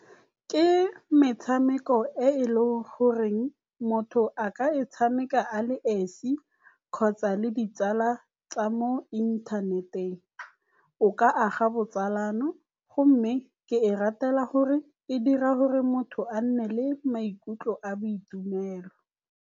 Ke metshameko e e leng goreng motho a ka e tshameka a le esi kgotsa le ditsala tsa mo inthaneteng. O ka aga botsalano gomme ke e ratela gore e dira gore motho a nne le maikutlo a boitumelo.